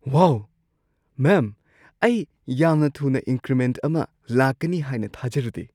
ꯋꯥꯎ, ma'am! ꯑꯩ ꯌꯥꯝꯅ ꯊꯨꯅ ꯏꯟꯀ꯭ꯔꯤꯃꯦꯟꯠ ꯑꯃ ꯂꯥꯛꯀꯅꯤ ꯍꯥꯏꯅ ꯊꯥꯖꯔꯨꯗꯦ!